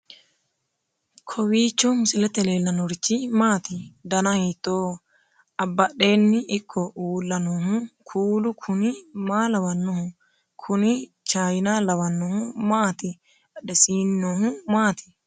kowiicho misilete leellanorichi maati ? dana hiittooho ?abadhhenni ikko uulla noohu kuulu kuni maa lawannoho? kuni chiyina lawannohu maati badhesiinni noohu maati